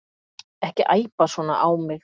Ekki æpa svona á mig.